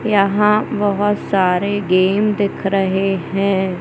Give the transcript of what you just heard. यहां बहोत सारे गेम दिख रहे है।